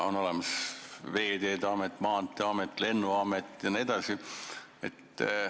On olemas Veeteede Amet, Maanteeamet, Lennuamet jne.